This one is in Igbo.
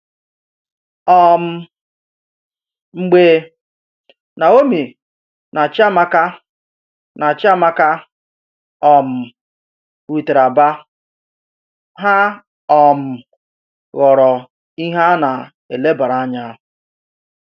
um Mgbe Naọ́mí nà Chíàmákà nà Chíàmákà um rùtèrè Àbà, hà um ghọrọ ìhè a nà-èlèbàrà ànyà.